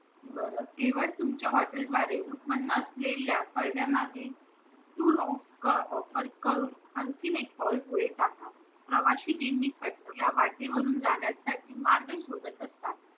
बर केवळ तुमच्या हॉटेल द्वारे उत्पन्न असलेल्या offer करून आणखी एक पाऊल पुढे टाका प्रवासी Team नी वाटेवरून जाण्यासाठी मार्ग शोधात असतात